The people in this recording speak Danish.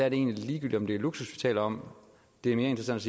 er ligegyldigt om det er luksus vi taler om det er mere interessant